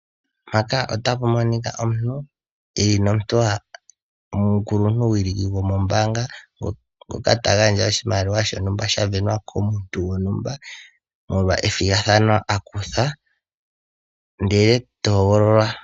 Mpaka otapa monika omuntu eli nomuntu omukuluntuwiliki go moombaanga ngoka ta gandja oshimaliwa shontumba sha venwa komuntu gontumba molwa ethigathano a kutha ndele toogololwa